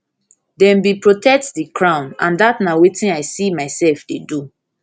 dem bin protect protect di crown and dat na wetin i see mysef dey do